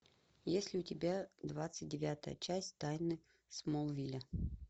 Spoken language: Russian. есть ли у тебя двадцать девятая часть тайны смолвиля